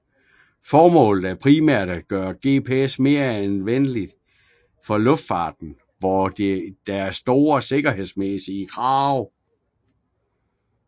Formålet er primært at gøre GPS mere anvendeligt for luftfarten hvor der er store sikkerhedsmæssige krav